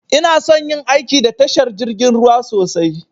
Inason yin aiki da tashar jirgin ruwa sosai